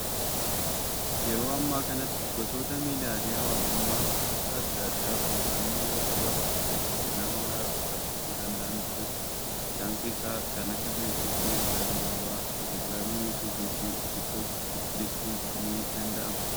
Yeroo ammaa kanatti, gosoota miidiyaalee hawaasummaa gosa addaa addaa odeeffannoo yeroo gabaabaa keessatti nama maraa qaqqabsiisuu danda'antu jiru. Isaan keessaa, kan akka feesbuukii, ergaa gabaabaa, telegiraamii, yuutuubii fi tiktookii jechuun ni danda'ama.